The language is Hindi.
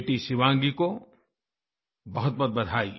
बेटी शिवांगी को बहुतबहुत बधाई